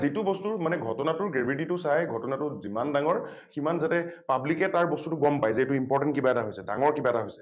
যিটো বস্তুৰ মানে ঘটনা টোৰ gravity টো চাই ঘটনা টো যিমান ডাঙৰ সিমান যাতে public এ তাৰ বস্তুটো গম পায় যে এইটো important কিবা এটা হৈছে ডাঙৰ কিবা এটা হৈছে।